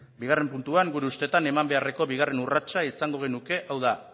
bigarren puntuan gure ustetan eman beharreko bigarren urratsa izango genuke hau da